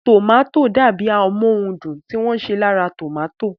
Tòmátò dàbi amóhundùn tí wọ́n ṣe látara tòmátò